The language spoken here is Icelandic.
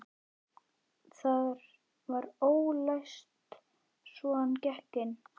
Það var ólæst svo hann gekk inn.